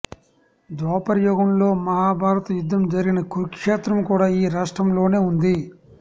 ద్వాపరయుగంలో మహాభారత యుద్ధం జరిగిన కురుక్షేత్రం కూడా ఈ రాష్ట్రంలోనే ఉంది